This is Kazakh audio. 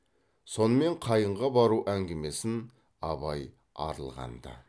сонымен қайынға бару әңгімесін абай арылған ды